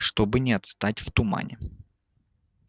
чтоб не отстать в тумане